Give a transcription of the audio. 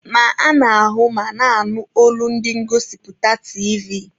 Ma ana-ahụ ma na-anụ olu ndi ngosipụta tiivi.